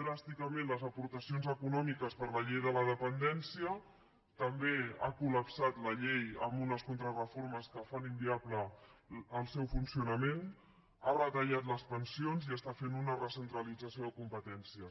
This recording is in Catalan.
dràsticament les aportacions econòmiques per a la llei de la dependència també ha colunes contrareformes que fan inviable el seu funcionament ha retallat les pensions i està fent una recentralització de competències